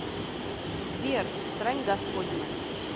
сбер срань господня